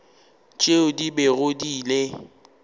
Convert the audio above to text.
tšeo di bego di le